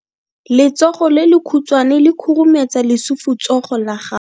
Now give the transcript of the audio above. Letsogo le lekhutshwane le khurumetsa lesufutsogo la gago.